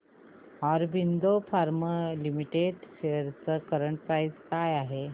Aurobindo Pharma Limited shares ची current price काय आहे